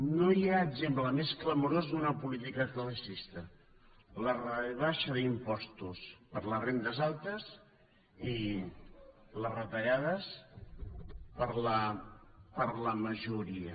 no hi ha exemple més clamorós d’una política classista la rebaixa d’impostos per a les rendes altes i les retallades per a la majoria